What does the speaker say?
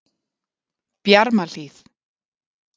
Bjarmahlíð